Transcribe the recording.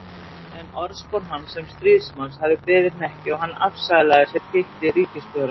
En orðspor hans sem stríðsmanns hafði beðið hnekki og hann afsalaði sér titli ríkisstjóra.